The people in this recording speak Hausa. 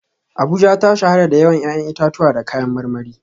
Abuja ta shahara da yawan 'ya'yan itatuwa da kayan marmari